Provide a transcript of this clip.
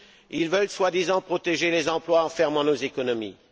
Ils veulent soi disant protéger les emplois en fermant nos économies.